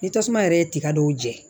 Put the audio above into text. Ni tasuma yɛrɛ ye tiga dɔw jɛ